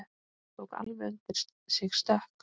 Tók alveg undir sig stökk!